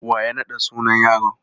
Wa ya naɗa sunan yaron?